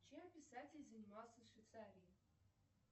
чем писатель занимался в швейцарии